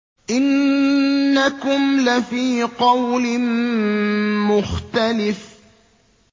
إِنَّكُمْ لَفِي قَوْلٍ مُّخْتَلِفٍ